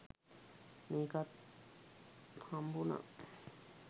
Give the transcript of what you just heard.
මේකත් හම්බුනා